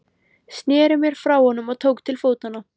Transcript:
Sneri mér frá honum og tók til fótanna.